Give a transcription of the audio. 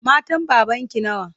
Matan babanki nawa?